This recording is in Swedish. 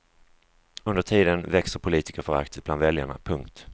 Under tiden växer politikerföraktet bland väljarna. punkt